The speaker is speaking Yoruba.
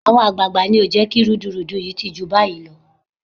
Àwọn àgbààgbà ni ò jẹ́ kí rúdurùdu yìí ti jù báyìí lọ